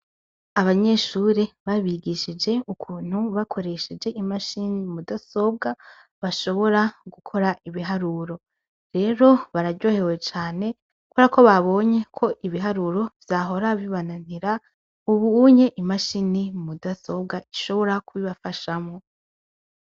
Abanyeshuri babigishije ukuntu bakoresheje imashini mudasobwa ,bashobora gukora ibiharuro , rero bararyohewe cane kubera ko babonye ibiharuro vyahora bibananira, ub'unye imashini mudasobwa ishobora kubibafashamwo.